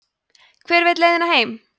hver veit leiðina heim